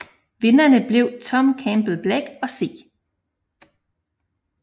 Vinderne blev Tom Campbell Black og C